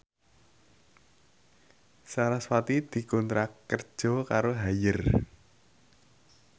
sarasvati dikontrak kerja karo Haier